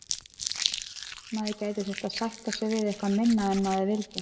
Maður gæti þurft að sætta sig við eitthvað minna en maður vildi.